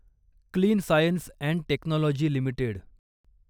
clean science and technology limited